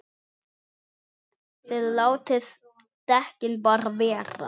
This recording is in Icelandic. ÞIÐ LÁTIÐ DEKKIN BARA VERA!